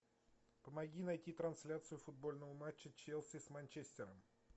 помоги найти трансляцию футбольного матча челси с манчестером